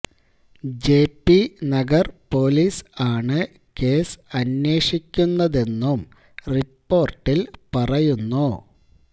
JP Nagar police ആണ് case അന്വേഷിക്കുന്നതെന്നും റിപ്പോർട്ടിൽ പറയുന്നു